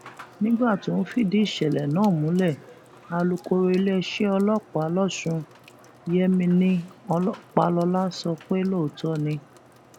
nígbà tó ń fìdí ìṣẹlẹ náà múlẹ alukoro iléeṣẹ ọlọpàá lọsùn yemini ọpàlọlá sọ pé lóòótọ ni